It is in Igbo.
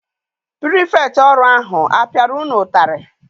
Pirifektị ọrụ ahụ apiara unu ụtarị?